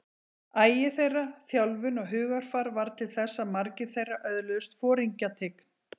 Agi þeirra, þjálfun og hugarfar varð til þess að margir þeirra öðluðust foringjatign.